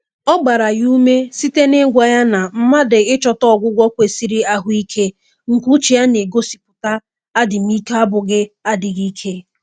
Ọ gbara ya ume site na-ịgwa ya na mmadụ ịchọta ọgwụgwọ kwesịrị ahụike nke uche na-egosipụta adịm ike ọ bụghị adịghị ike